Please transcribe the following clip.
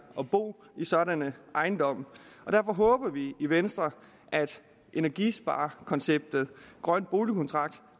og bo i sådanne ejendomme derfor håber vi i venstre at energisparekonceptet grøn boligkontrakt